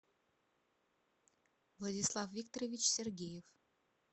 владислав викторович сергеев